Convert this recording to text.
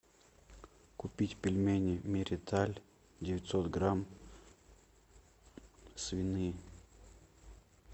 купить пельмени мириталь девятьсот грамм свиные